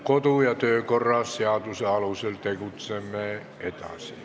Kodu- ja töökorra seaduse alusel tegutseme edasi.